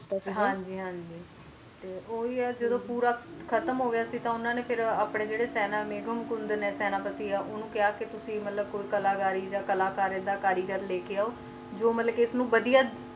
ਕਿੱਤਾ ਸੀ ਨਾ ਹਨ ਜੀ ਹਨ ਜੀ ਤੇ ਉਹ ਹੈ ਹੈ ਜੱਦੋ ਪੂਰਾ ਖਤਮ ਹੋਗੀ ਸੀ ਨਾ ਤੇ ਉਨ੍ਹਾਂ ਨੇ ਕਿਹਾ ਆਪਣੇ ਜੇਰੇ ਸੈਨਾਪਤੀ ਮੇਘਨਕੁੰਡ ਨੇ ਉਨਹੂ ਨੂੰ ਕਿਹਾ ਕ ਤੁਸੀ ਕੋਈ ਕਲਾਕਾਰੀ ਆ ਕਲਾਕਾਰ ਇੱਦਾ ਕਾਰੀਗਰ ਲੈ ਕ ਆਓ ਜੋ ਕ ਇਸ ਨੂੰ ਵੱਡੀਆਂ